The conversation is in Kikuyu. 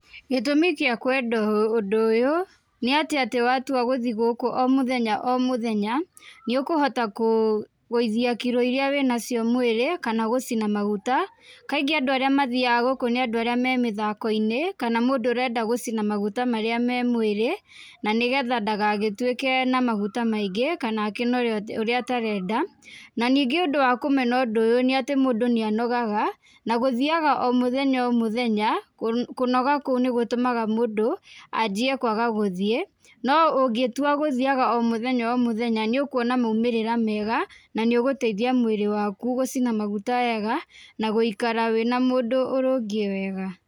Gĩtũmi kĩa kwenda ũndũ ũyũ, nĩ atĩ atĩ watua gũthi gũkũ o mũthenya o mũthenya, nĩ ũkũhota kũgũithia kiro irĩa wĩ nacio mwĩrĩ, kana gũcina maguta. Kaingĩ andũ arĩa mathiaga gũkũ nĩ andũ arĩa me mĩthako-inĩ, kana mũndũ arenda gũcina maguta marĩa me mwĩrĩ na nĩgetha ndagagĩtuĩke na maguta maingĩ, kana akĩnore ũrĩa aterenda, na ningĩ ũndũ wa kũmena ũndũ ũyũ nĩ atĩ mũndũ nĩ anogaga na gũthiaga o mũthenya o mũthenya kũnoga kũu nĩ gũtũmaga mũndũ, anjie kwaga gũthiĩ. No ũngĩtua gũthiaga o mũthenya o mũthenya nĩ ũkuona maumĩrĩra mega na nĩ ũgũteithia mwĩrĩ waku gũcina maguta wega na gũikara wĩna mũndũ ũrũngiĩ wega.